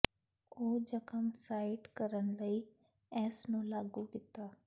ਉਹ ਜ਼ਖ਼ਮ ਸਾਈਟ ਕਰਨ ਲਈ ਇਸ ਨੂੰ ਲਾਗੂ ਕੀਤਾ